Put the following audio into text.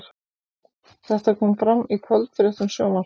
Þetta kom fram í kvöldfréttum Sjónvarps